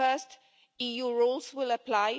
So first, EU rules will apply